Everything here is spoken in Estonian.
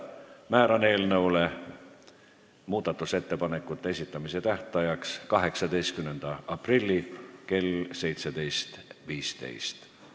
Määran eelnõu muudatusettepanekute esitamise tähtajaks 18. aprilli kell 17.15.